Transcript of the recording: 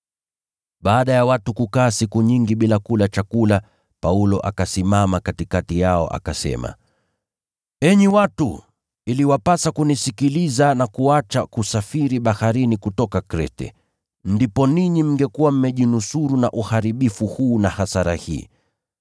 Baada ya watu kukaa siku nyingi bila kula chakula, Paulo akasimama katikati yao akasema, “Enyi watu, iliwapasa kunisikiliza na kuacha kusafiri baharini kutoka Krete, ndipo ninyi mngekuwa mmejinusuru na uharibifu huu na hasara hii.